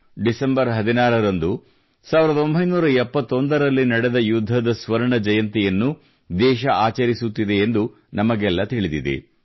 December 16 ರಂದು 1971 ನೇ ವರ್ಷದಲ್ಲಿ ನಡೆದ ಯುದ್ಧದ ಸ್ವರ್ಣ ಜಯಂತಿಯನ್ನು ದೇಶ ಆಚರಿಸುತ್ತಿದೆ ಎಂದು ನಮಗೆಲ್ಲ ತಿಳಿದಿದೆ